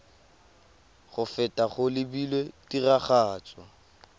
go feta go lebilwe tiragatso